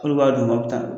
Olu b'a d'u ma u bɛ taa